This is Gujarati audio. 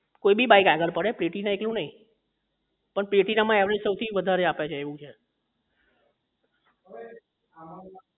કોઈ બી bike આગળ પડે platina એકલું જ નહીં પણ platina માં average વધારે આપે છે